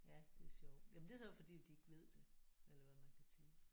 Ja det er sjovt jamen det er så fordi de ikke ved det eller hvad man kan sige